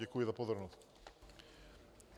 Děkuji za pozornost.